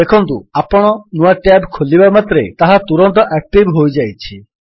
ଦେଖନ୍ତୁ ଆପଣ ନୂଆ ଟ୍ୟାବ୍ ଖୋଲିବା ମାତ୍ରେ ତାହା ତୁରନ୍ତ ଆକ୍ଟିଭ୍ ହୋଇଯାଇଛି